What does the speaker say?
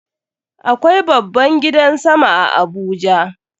Akwai babban gidan sama a Abuja.